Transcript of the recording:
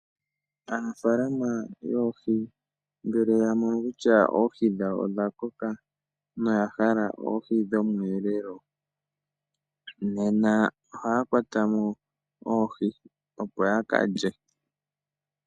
Aanafalama yoohi ngele ya mono kutya oohi dhawo odha koka noya hala oohi dhomweelelo . Nena ohaa kwata mo oohi opo ya kalye.